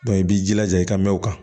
i b'i jilaja i ka mɛn o kan